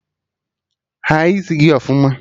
Haa isi gị ọfụma!